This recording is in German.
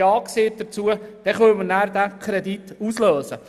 Dann erst können wir diesen Kredit auslösen.